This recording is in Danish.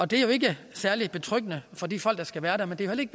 det er jo ikke særlig betryggende for de folk der skal være der men det er heller ikke